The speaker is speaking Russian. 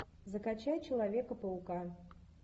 закачай человека паука